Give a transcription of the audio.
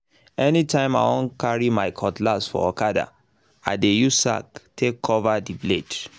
anytime i wan carry my cutlass for okada i dey use sack take um cover the blade